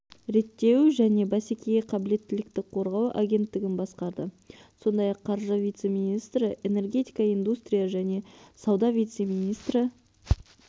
реттеу және бәсекеге қабілеттілікті қорғау агенттігін басқарды сондай-ақ қаржы вице-министрі энергетика индустрия және сауда вице-министрі